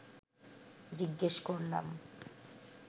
জিজ্ঞেস করলাম